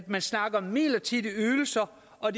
man snakker om midlertidige ydelser og